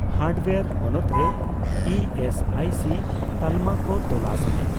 Hardware ᱦᱚᱱᱚᱛ ᱨᱮ E S I C ᱛᱟᱞᱢᱟ ᱠᱚ ᱛᱚᱞᱟᱥ ᱢᱮ ᱾